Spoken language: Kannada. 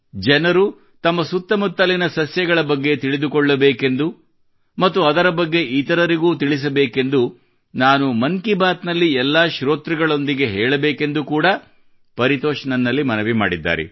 ಜನರು ತಮ್ಮ ಸುತ್ತಮುತ್ತಲಿನ ಸಸ್ಯಗಳ ಬಗ್ಗೆ ತಿಳಿದುಕೊಳ್ಳಬೇಕೆಂದು ಮತ್ತು ಅದರ ಬಗ್ಗೆ ಇತರರಿಗೂ ತಿಳಿಸಬೇಕೆಂದು ನಾನು ಮನ್ ಕಿ ಬಾತ್ ನಲ್ಲಿ ಎಲ್ಲಾ ಶ್ರೋತೃಗಳೊಂದಿಗೆ ಹೇಳಬೇಕೆಂದು ಕೂಡಾ ಪರಿತೋಷ್ ನನ್ನಲ್ಲಿ ಮನವಿ ಮಾಡಿದ್ದಾರೆ